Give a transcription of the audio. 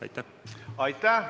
Aitäh!